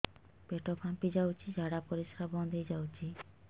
ପେଟ ଫାମ୍ପି ଯାଉଛି ଝାଡା ପରିଶ୍ରା ବନ୍ଦ ହେଇ ଯାଉଛି